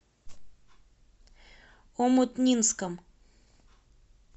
омутнинском